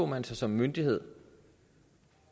man sig som myndighed